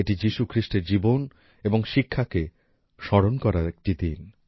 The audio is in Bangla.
এটি যিশু খ্রিস্টের জীবন এবং শিক্ষাকে স্মরণ করার একটি দিন